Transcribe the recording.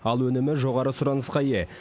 ал өнімі жоғары сұранысқа ие